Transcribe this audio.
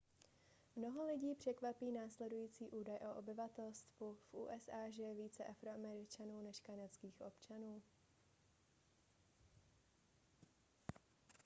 mnoho lidí překvapí následující údaj o obyvatelstvu v usa žije více afroameričanů než kanadských občanů